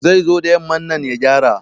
Zai zo da yamman nan ya gyara